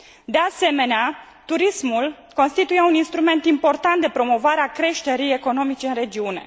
De asemenea, turismul constituie un instrument important de promovare a creșterii economice în regiune.